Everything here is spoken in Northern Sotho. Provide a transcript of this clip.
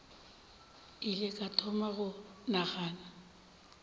ile ka thoma go nagana